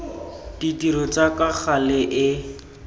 ditiro tsa ka gale e